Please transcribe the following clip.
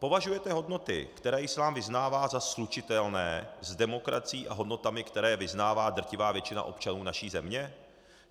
Považujete hodnoty, které islám vyznává, za slučitelné s demokracií a hodnotami, které vyznává drtivá většina občanů naší země?